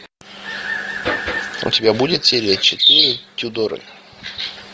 у тебя будет серия четыре тюдоры